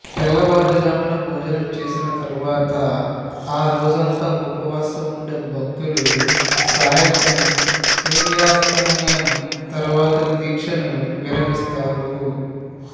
తెల్లవారుజామున భోజనం చేసిన తరువాత ఆ రోజంతా ఉపవాసం ఉండే భక్తులు సాయంత్రం సూర్యాస్తమయం తర్వాత దీక్షను విరిమిస్తారు